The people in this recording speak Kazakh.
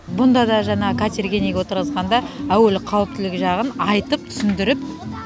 бұнда да жаңа катерге неге отырғызғанда әуелі қауіптілігі жағын айтып түсіндіріп